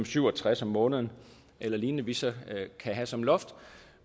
syv og tres om måneden eller lignende vi så kan have som loft